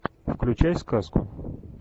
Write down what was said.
включай сказку